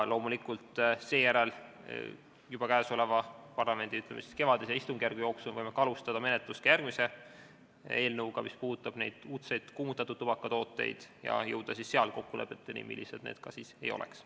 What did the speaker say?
Loomulikult võime seejärel juba parlamendi kevadise istungjärgu jooksul alustada järgmise eelnõu menetlust, mis puudutab uudseid kuumutatud tubakatooteid, ja jõuda kokkulepetele, millised need siis ka ei oleks.